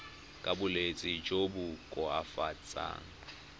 ka bolwetsi jo bo koafatsang